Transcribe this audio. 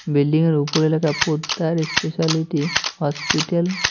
Building -য়ের উপরে লেখা পোদ্দার এস্পেশালিটি হসপিটাল ।